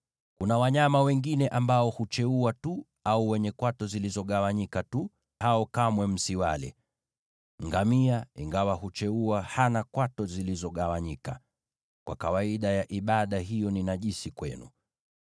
“ ‘Kuna wanyama wengine ambao hucheua tu au wenye kwato zilizogawanyika tu, lakini hao kamwe msiwale. Ngamia ingawa hucheua hana kwato zilizogawanyika; kwa kawaida ya ibada hiyo ni najisi kwenu.